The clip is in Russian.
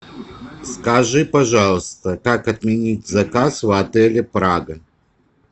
скажи пожалуйста как отменить заказ в отеле прага